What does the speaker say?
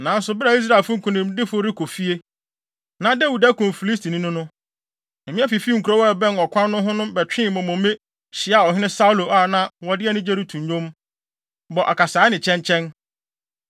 Nanso bere a Israelfo nkonimdifo rekɔ fie, na Dawid akum Filistini no, mmea fifi nkurow a ɛbɛn ɔkwan no ho no bɛtwee mmommomme hyiaa Ɔhene Saulo a na wɔde anigye reto nnwom, bɔ akasae ne kyɛnkyɛn.